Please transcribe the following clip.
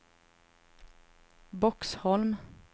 Boxholm